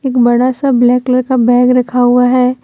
एक बड़ा सा ब्लैक कलर का बैग रखा हुआ है।